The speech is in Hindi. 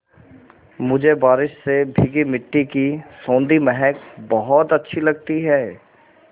मुझे बारिश से भीगी मिट्टी की सौंधी महक बहुत अच्छी लगती है